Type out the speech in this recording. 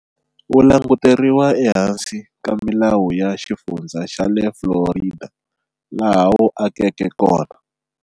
Wu languteriwa ehansi ka milawu ya xifundza xale Florida, laha wu akeke kona.